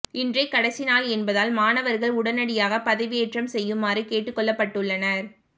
இன்றே கடைசி நாள் என்பதால் மாணவர்கள் உடனடியாக பதிவேற்றம் செய்யுமாறு கேட்டுக்கொள்ளப்பட்டுள்ளனர்